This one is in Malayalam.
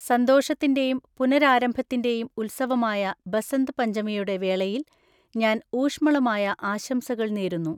സന്തോഷത്തിന്റെയും പുനരാരംഭത്തിന്റെയും ഉത്സവമായ ബസന്ത് പഞ്ചമിയുടെ വേളയിൽ ഞാൻ ഊഷ്മളമായ ആശംസകൾ നേരുന്നു.